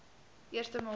eerste maal sien